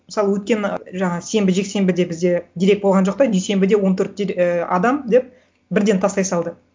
мысалы өткен жаңа сенбі жексенбіде бізде дерек болған жоқ та дүйсенбіде он төрт ы адам деп бірден тастай салды